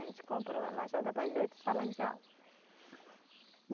A gente comprou a lajota para as oito salas de aula.